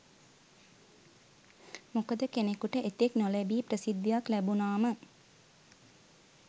මොකද කෙනෙකුට එතෙක් නොලැබි ප්‍රසිද්ධියක් ලැබුණාම